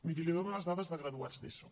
miri li dono les dades de graduats d’eso